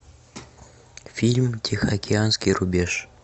фильм тихоокеанский рубеж